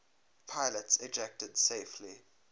pilots ejected safely